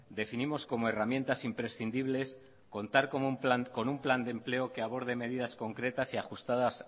definimos como herramientas imprescindibles contar con un plan de empleo que aborde medidas concretas y ajustadas